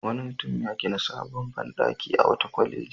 Wani mutum ya gina sabon banɗaki a wata kwaleji.